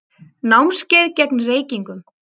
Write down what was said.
Námskeið gegn reykingum.